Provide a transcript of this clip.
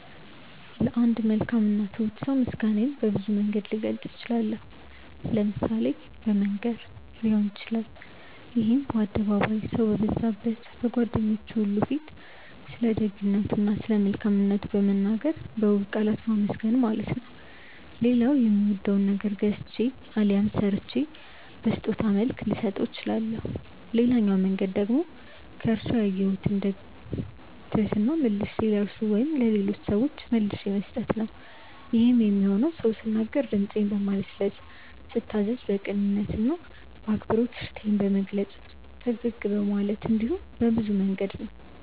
ለአንድ መልካም እና ትሁት ሰው ምስጋናዬን በብዙ መንገድ ልገልጽ እችላለሁ። ለምሳሌ በመንገር ሊሆን ይችላል ይሄም በአደባባይ፣ ሰው በበዛበት፣ በጓደኞቹ ሁሉ ፊት ስለደግነቱ እና ስለመልካምነቱ በመናገር በውብ ቃላት ማመስገን ማለት ነው። ሌላው የሚወደውን ነገር ገዝቼ አሊያም ሰርቼ በስጦታ መልክ ልሰጠው እችላለሁ። ሌላኛው መንገድ ደግሞ ከርሱ ያየሁትን ትህትና መልሼ ለርሱ ወይም ለሌሎች ሰዎች መልሼ መስጠት ነው። ይሄም የሚሆነው ስናገር ድምጼን በማለስለስ፤ ስታዘዝ በቅንነት እና በአክብሮት እሺታዬን በመግለጽ፤ ፈገግ በማለት እንዲሁም በብዙ መንገድ ነው።